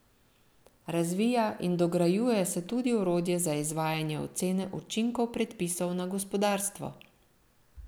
Razvija in dograjuje se tudi orodje za izvajanje ocene učinkov predpisov na gospodarstvo.